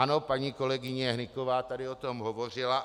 Ano, paní kolegyně Hnyková tady o tom hovořila.